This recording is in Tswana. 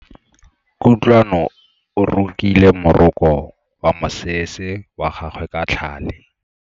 Kutlwano o rokile moroko wa mosese wa gagwe ka tlhale.